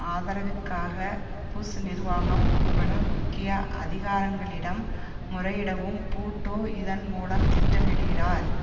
ஆதரவிற்காக Bush நிர்வாகம் உட்பட முக்கிய அதிகாரங்களிடம் முறையிடவும் பூட்டோ இதன் மூலம் திட்டமிடுகிறார்